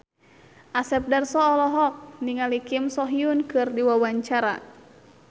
Asep Darso olohok ningali Kim So Hyun keur diwawancara